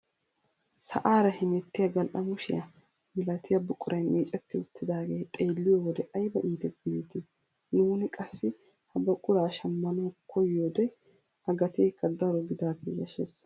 Sa'aara hemettiyaa gal"amushiyaa milatiyaa buquray micceti uttidagee xeelliyoo wode ayba iites gidetii! nuuni qassi ha buquraa shammanwu koyiyoode a gateekka daro gidaagee yashshees.